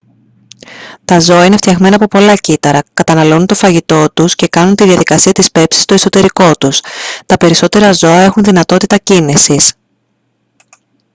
τα ζώα είναι φτιαγμένα από πολλά κύτταρα καταναλώνουν το φαγητό τους τους και κάνουν την διαδικασία της πέψης στο εσωτερικό τους τα περισσότερα ζώα έχουν δυνατότητα κίνησης